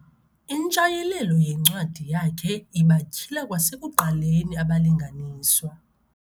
Intshayelelo yencwadi yakhe ibatyhila kwasekuqaleni abalinganiswa.